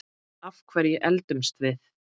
Af hverju eldumst við?